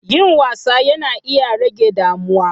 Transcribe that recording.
Yin wasa yana iya rage damuwa.